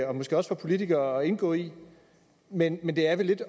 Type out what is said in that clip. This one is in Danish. og måske også for politikere at indgå i men men det er vel lidt